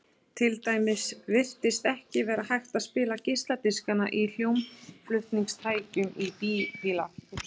til dæmis virtist ekki vera hægt að spila geisladiskana í hljómflutningstækjum bíla